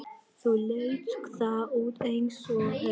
Þá leit það út eins og haus.